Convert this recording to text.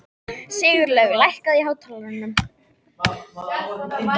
Sigurlaug, lækkaðu í hátalaranum.